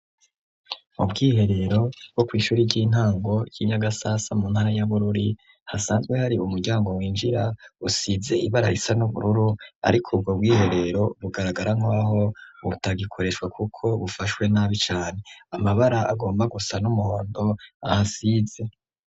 Ubwiherero bwo kw'ishuri ry'intango y'inyagasasa mu ntara y'abururi hasanzwe hari umuryango winjira usize ibara risa n'ubururu, ariko ubwo bwiherero bugaragara nkwaho butagikoreshwa, kuko bufashwe nabi cane amabara agomba gusa n'umuhondo ahasize.